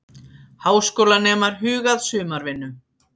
Háskólanemar huga að sumarvinnu